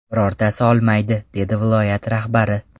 Birortasi olmaydi”, dedi viloyat rahbari.